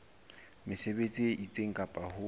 mesebetsi e itseng ka ho